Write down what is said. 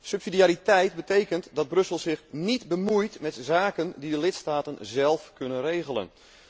Subsidiariteit betekent dat Brussel zich niet bemoeit met zaken die de lidstaten zelf kunnen regelen.